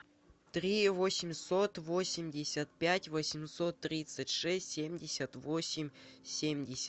три восемьсот восемьдесят пять восемьсот тридцать шесть семьдесят восемь семьдесят